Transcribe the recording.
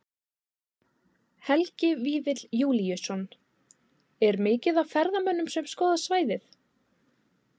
Helgi Vífill Júlíusson: Er mikið af ferðamönnum sem skoða svæðið?